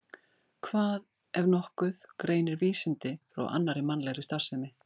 Hvað, ef nokkuð, greinir vísindi frá annarri mannlegri starfsemi?